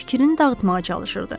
Fikrini dağıtmağa çalışırdı.